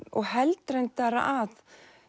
og held reyndar að